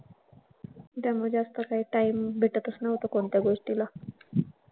त्यामुळे जास्त काय time भेटतच नव्हता कोणत्या गोष्टीला.